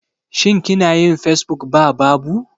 Shin kinayin Facebook ba babu?